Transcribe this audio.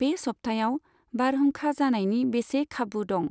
बे सप्तायाव बारहुंखा जानायनि बेसे खाबु दं?